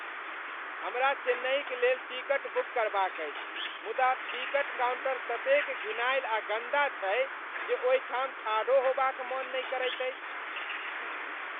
हमरा चेन्नईक लेल टिकट बुक करबाक अछि मुदा टिकट काउंटर ततेक घिनायल आ गंदा छै जे ओहिठाम ठाढ़ो होबाक मन नहि करैत अछि।